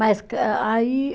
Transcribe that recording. Mas que aí